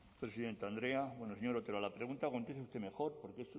presidente andrea bueno señor otero a la pregunta conteste usted mejor porque es